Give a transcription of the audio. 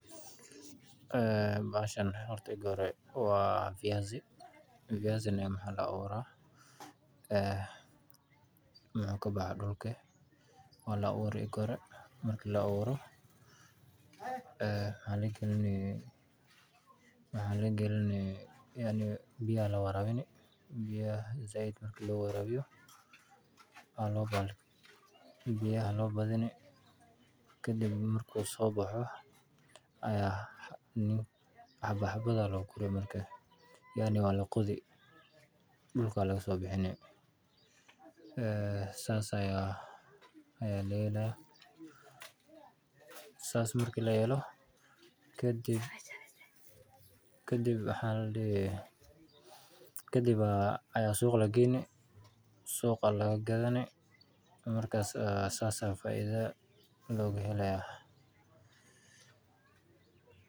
Bahashan waa fayasi waxaa laga abuura wuxuu kabaxaa dulka waa la aburi marki la abuuro biya aya lawarabini marki lawarabiyo wuu soo bixi hadana waa laqodi dulka ayaa laga soo bixini kadib ayaa suuqa lageyni suuqawaa lagadani saas ayaa faida looga helaa.